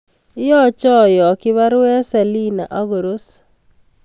Yoche ayokyi baruet Selina ak koros